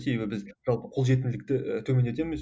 себебі біз жалпы қолжетімділікті ііі төмендетеміз